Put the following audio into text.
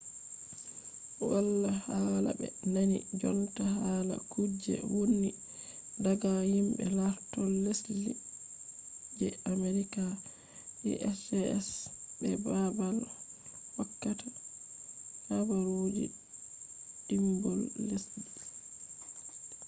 wala hala ɓe nani jonta hala kuje wonni daga yimbe lartol lesdi je amerika usgs be babal hokkata habaru dimbol lesdi